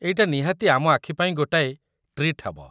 ଏଇଟା ନିହାତି ଆମ ଆଖି ପାଇଁ ଗୋଟାଏ ଟ୍ରିଟ୍ ହେବ ।